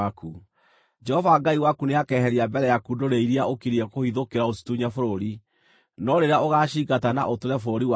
Jehova Ngai waku nĩakeheria mbere yaku ndũrĩrĩ iria ũkiriĩ kũhithũkĩra ũcitunye bũrũri. No rĩrĩa ũgaacingata na ũtũũre bũrũri wacio,